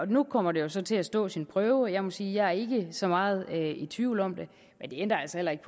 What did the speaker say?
nu kommer det så til at stå sin prøve og jeg må sige at jeg ikke er så meget i tvivl om det men det ændrer altså heller ikke